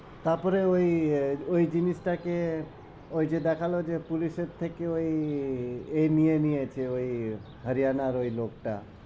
তারপরে ওই ঐ জিনিস টাকে ওই যে দেখালো যে police এর থেকে ওই আহ এ নিয়ে নিয়েছে ওই হরিয়ানার ওই লোক টা